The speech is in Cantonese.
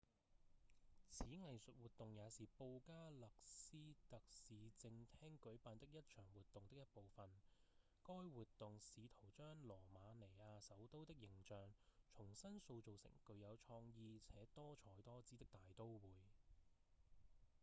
此藝術活動也是布加勒斯特市政廳舉辦的一場活動的一部分該活動試圖將羅馬尼亞首都的形象重新塑造成具有創意且多采多姿的大都會